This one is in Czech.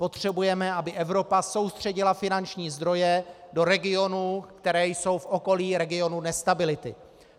Potřebujeme, aby Evropa soustředila finanční zdroje do regionů, které jsou v okolí regionu nestability.